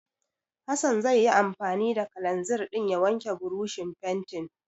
Hassan zai yi anfani da kalanzir ɗin ya wanke burushin fentin.